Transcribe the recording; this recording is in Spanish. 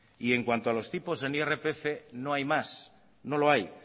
y en cuanto a los tipos en irpf no hay más no lo hay